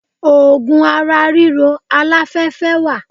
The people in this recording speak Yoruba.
Ògùn ara ríro aláfẹ́fẹ́ wà.